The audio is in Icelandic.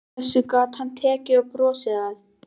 Þessu gat hann tekið og brosti að.